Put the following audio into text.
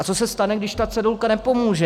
A co se stane, když ta cedulka nepomůže?